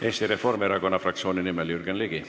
Eesti Reformierakonna fraktsiooni nimel Jürgen Ligi.